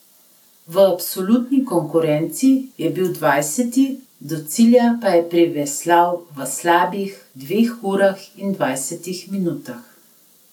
V absolutni konkurenci je bil dvajseti, do cilja pa je priveslal v slabih dveh urah in dvajsetih minutah.